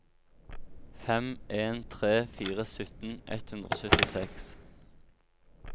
fem en tre fire sytten ett hundre og syttiseks